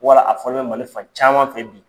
Wala a fɔlɔ bɛ Mali fan caman fɛ bi.